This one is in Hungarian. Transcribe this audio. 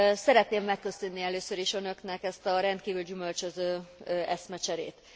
Szeretném megköszönni először is Önöknek ezt a rendkívül gyümölcsöző eszmecserét.